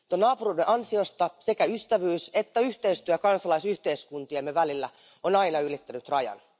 Tuon naapuruuden ansiosta sekä ystävyys että yhteistyö kansalaisyhteiskuntiemme välillä on aina ylittänyt rajan.